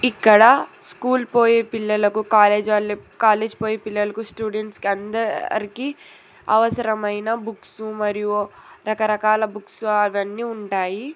ఇక్కడ స్కూల్ పోయే పిల్లలకు కాలేజ్ ఆళ్ళు కాలేజ్ పోయే పిల్లలకు స్టూడెంట్స్ అందరికి అవసరమైన బుక్సు మరియు రకరకాల బుక్సు అవన్నీ ఉంటాయి.